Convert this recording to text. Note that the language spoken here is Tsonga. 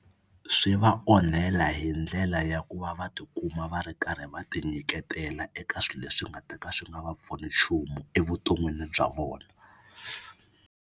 Swi va onhela hi ndlela ya ku va va tikuma va ri karhi va tinyiketela eka swilo leswi nga ta ka swi nga va pfuni nchumu evuton'wini bya vona.